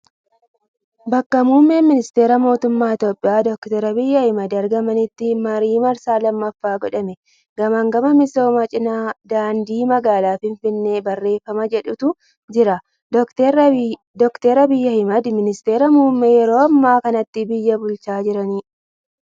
Bakka Muummeen Ministera Mootummaa Itiyoophiyaa Dooktar Abiyyi Ahmad argamanitti, marii marsaa lammaffaaf godhame. Gamagamaa misooma Cinaa daandii magaalaa Finfinnee barreefama jedhutu jira. Dooktar Abiyyi Ahmad ministara muummee yeroo ammaa kanatti biyaa bulchaa jirani.